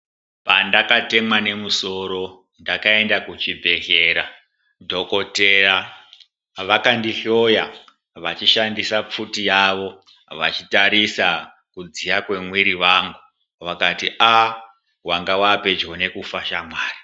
Pandakatemwa nemusoro ndakaenda kuchibhedhlera dhokoteya vakandihloya vachishandisa pfuti yavo vachitarisa kudziya mwemwiri wangu vakati aaa wanga wapedyo nekufa shamwari.